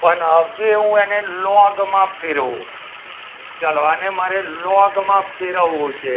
પણ હવે હું એને લોગમાં ફેરવું ચાલો આને મારે લોગમાં ફેરવવો છે.